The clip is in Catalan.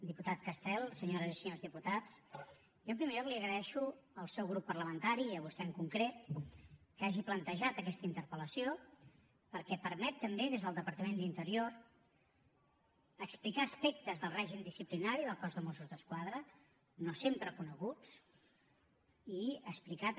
diputat castel senyores i senyors diputats jo en primer lloc li agraeixo al seu grup parlamentari i a vostè en concret que hagi plantejat aquesta interpel·lació perquè permet també des del departament d’interior explicar aspectes del règim disciplinari del cos de mossos d’esquadra no sempre coneguts i explicar també